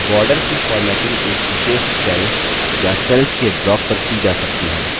borders की formatting एक विशेष cell या cells के block पर की जा सकती है